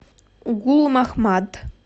гулмахмад